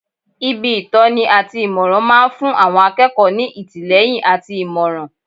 Ibi ìtọ́ni àti ìmọ̀ràn máa ń fún àwọn akẹ́kọ̀ọ́ ní ìtìlẹ́yìn àti ìmọ̀ràn